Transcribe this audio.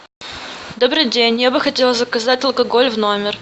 добрый день я бы хотела заказать алкоголь в номер